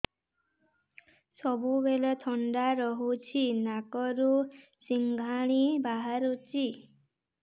ସବୁବେଳେ ଥଣ୍ଡା ରହୁଛି ନାକରୁ ସିଙ୍ଗାଣି ବାହାରୁଚି